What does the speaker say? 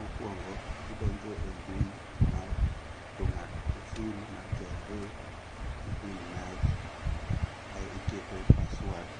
Mokuongo, idonjo e mbui mar jong'ad oshuru mar KRA gi pin mari ae iketo password